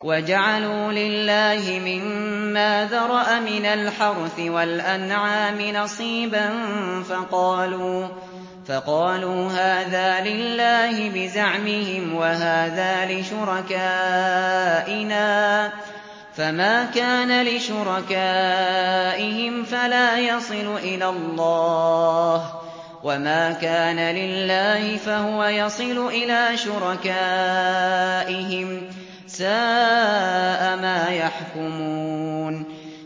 وَجَعَلُوا لِلَّهِ مِمَّا ذَرَأَ مِنَ الْحَرْثِ وَالْأَنْعَامِ نَصِيبًا فَقَالُوا هَٰذَا لِلَّهِ بِزَعْمِهِمْ وَهَٰذَا لِشُرَكَائِنَا ۖ فَمَا كَانَ لِشُرَكَائِهِمْ فَلَا يَصِلُ إِلَى اللَّهِ ۖ وَمَا كَانَ لِلَّهِ فَهُوَ يَصِلُ إِلَىٰ شُرَكَائِهِمْ ۗ سَاءَ مَا يَحْكُمُونَ